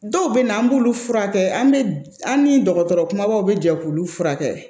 Dɔw bɛ na an b'olu furakɛ an bɛ an ni dɔgɔtɔrɔ kumabaw bɛ jɛ k'u furakɛ